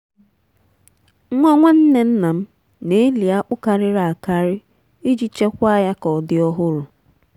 ha na-ewepụta akwụkwọ nri kwa ụbọchị ka ha ghara ire n’osisi.